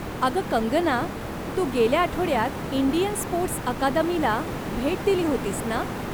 अगं कंगना, तू गेल्या आठवड्यात इंडियन स्पोर्टस् अकादमीला भेट दिली होतीस ना ?